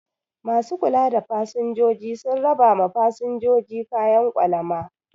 Ma su kula da fasinjoji sun raba ma fasinjoji kayan kwalama